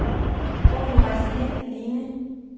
Hvor ville du rejse hen, alene?